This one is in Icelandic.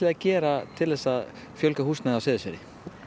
að gera til að fjölga húsnæði á Seyðisfirði